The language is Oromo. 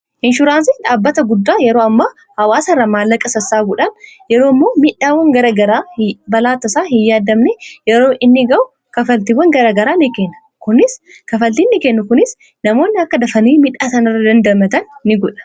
Inshuraansii dhaabbata guddaa yeroo ammaa hawaasa irraa maallaqa sassaabuudhaan yeroo immoo miidhaawwan garaa garaafi balaa tasaa hinyaadamne yeroo inni ga'u kanfaltiiwwan garaa garaa kanfaltiiwwan nikenna. Kunis namoonni akka dafanii miidhaa isaanii irraa damdamatan nigodha.